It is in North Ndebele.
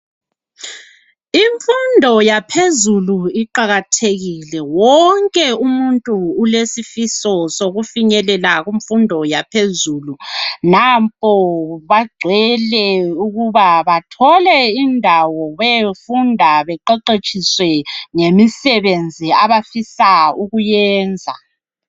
Imfundo yangaphezulu iqakathekile wonke umuntu ulesifiso sokufinyelela kumfundo yaphezulu. Nampo bagcwele ukuba bathole indawo beyofunda baqeqetshiswe ngemisebenzi abafisa ukuyenza.